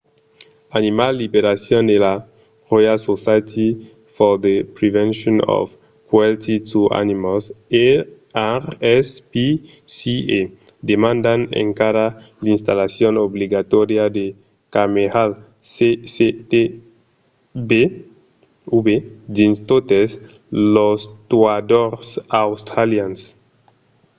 animal liberation e la royal society for the prevention of cruelty to animals rspca demandan encara l’installacion obligatòria de camèras cctv dins totes los tuadors australians